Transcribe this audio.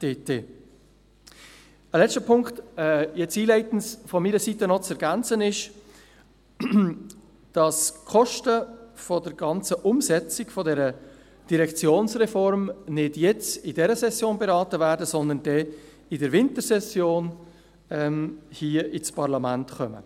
Ein letzter Punkt, der einleitend von meiner Seite zu ergänzen ist: Die Kosten der Umsetzung der Direktionsreform werden nicht in dieser Session beraten, sondern sie werden während der Wintersession im Parlament behandelt.